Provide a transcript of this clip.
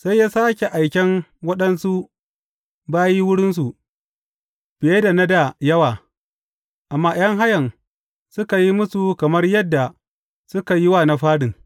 Sai ya sāke aiken waɗansu bayi wurinsu, fiye da na dā yawa, amma ’yan hayan suka yi musu kamar yadda suka yi wa na farin.